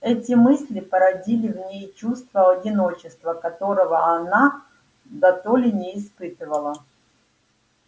эти мысли породили в ней чувство одиночества которого она дотоле не испытывала